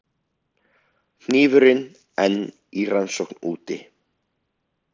Hnífurinn enn í rannsókn úti